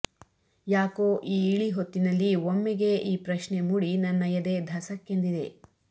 ಯಾಕೋ ಈ ಇಳಿಹೊತ್ತಿನಲ್ಲಿ ಒಮ್ಮೆಗೇ ಈ ಪ್ರಶ್ನೆ ಮೂಡಿ ನನ್ನ ಎದೆ ಧಸಕ್ಕೆಂದಿದೆ